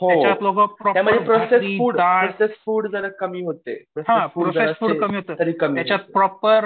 हो त्यामुळे processed food processed food जरा कमी होते कमी